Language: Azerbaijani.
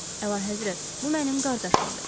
Əlahəzrət, bu mənim qardaşımdır.